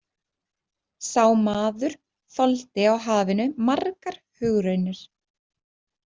Sá maður þoldi á hafinu margar hugraunir.